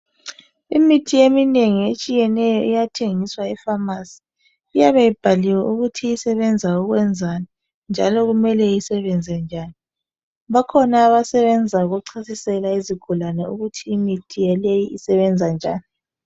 Imithi eminengi etshiyeneyo iyathengiswa efamasi. Iyabe ibhaliwe ukuthi isebenza ukwenzani njalo kumele isebenze njani. Bakhona abasebenza ukuchasisela izigulane ukuthi imithi yaleyi isebenza njani.